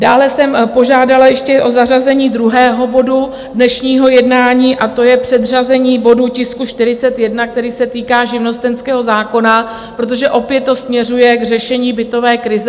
Dále jsem požádala ještě o zařazení druhého bodu dnešního jednání, a to je předřazení bodu - tisku 41, který se týká živnostenského zákona, protože opět to směřuje k řešení bytové krize.